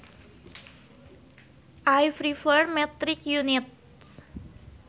I prefer metric units